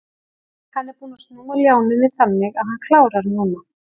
Hann er búinn að snúa ljánum við þannig að hann klárar núna.